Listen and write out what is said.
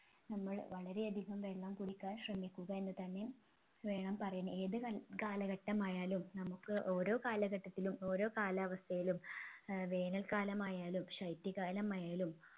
നമ്മൾ വളരെ അധികം വെള്ളം കുടിക്കാൻ ശ്രമിക്കുക എന്നുതന്നെ വേണം പറയാൻ ഏതു കാല കാലഘട്ടമായാലും നമ്മുക്ക് ഓരോ കാലഘട്ടത്തിലും ഓരോ കാലാവസ്ഥയിലും ഏർ വേനൽകാലമായാലും ശൈത്യകാലമായാലും